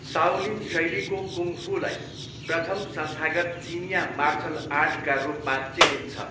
Shaolin शैलीको कुङ फूलाई प्रथम संस्थागत चिनियाँ मार्सल आर्टका रूपमा चिनिन्छ।